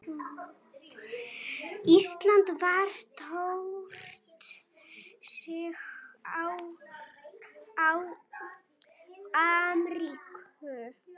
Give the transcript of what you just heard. Ísland vann stórsigur á Armeníu